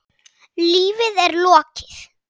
Lífi er lokið.